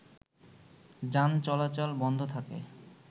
যান চালাচল বন্ধ থাকে